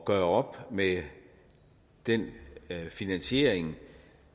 gøre op med den finansiering